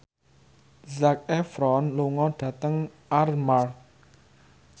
Zac Efron lunga dhateng Armargh